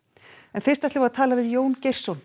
en fyrst ætlum við að tala við Jón Geirsson